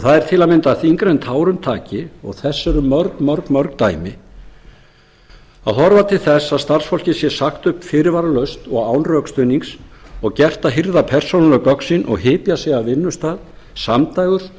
það er til að mynda þyngra en tárum taki og þess eru mörg mörg dæmi að horfa til þess að starfsfólki sé sagt upp fyrirvaralaust og án rökstuðnings og gert að hirða persónuleg gögn sín og hypja sig af vinnustað samdægurs